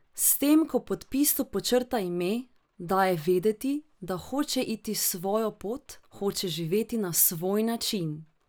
S tem ko v podpisu podčrta ime, daje vedeti, da hoče iti svojo pot, hoče živeti na svoj način!